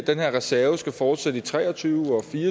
den her reserve skal fortsætte i tre og tyve